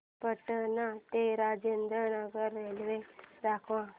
पटणा ते राजेंद्र नगर रेल्वे दाखवा